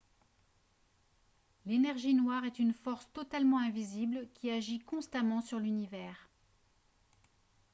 l'énergie noire est une force totalement invisible qui agit constamment sur l'univers